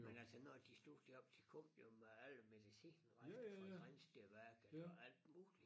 Men altså når de stod deroppe de kom jo med alle medicinrester fra Grindstedværket og alt muligt